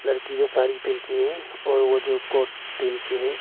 लड़की जो साड़ी पहन के है और वो जो कोट पहन के है।